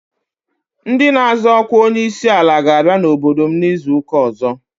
Ndị na-azọ ọkwa onye isi ala ga-abịa n'obodo m izu ụka ọzọ.